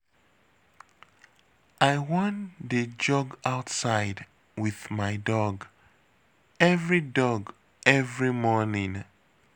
I wan dey jog outside with my dog every dog every morning